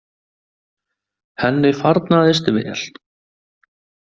Henni farnaðist vel.